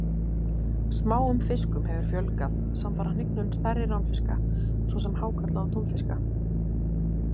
Smáum fiskum hefur fjölgað samfara hnignun stærri ránfiska svo sem hákarla og túnfiska.